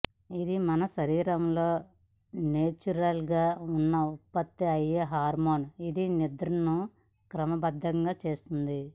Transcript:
ఇది మన శరీరంలో నేచురల్ గా ఉత్పత్తి అయ్యే హార్మోన్ ఇది నిద్రను క్రమబద్దం చేస్తుంది